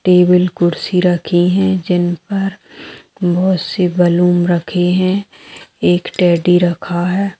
Table कुर्सी रखी हैं जिन पर बहुत से बैलून रखे हैं एक टैडी रखा है।